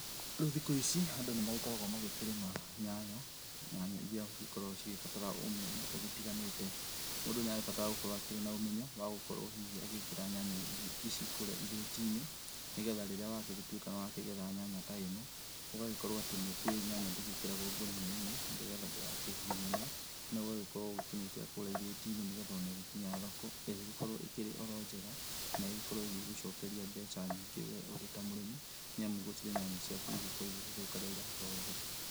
Rĩũ thikũ ici andũ nĩmagĩkoragwo magĩkĩrĩma nyanya, nyanya irĩa cigĩkoragwo cikĩbatara ũmenyo ũgĩtiganĩte , mũndũ nĩarabatara gũkorwo akĩrĩ na ũmenyo wa gũkorwo hihi agĩkĩra nyanya ici kũrĩa irĩti-inĩ, nĩgetha rĩrĩa wagĩtuĩka kũgetha nyanya ta ĩno ũgagĩkorwo atĩ nĩũkĩũwĩ nyanya ndĩkĩragwo ngunia-inĩ, nĩgetha ndĩgakĩhihinyane noũgagĩkorwo ũkĩmĩkĩra kũrĩa irĩtinĩ, nĩgetha ona ĩgĩkinya thoko ĩgagĩkorwo ĩrĩ njega na ĩgĩkorwo ĩgĩgũcokeria mbeca nyingĩ we ũrĩ ta mũrĩmi nĩamu gũtirĩ nyanya ciaku igũkorwo igĩthũka rĩrĩa iragĩtwarwo thoko.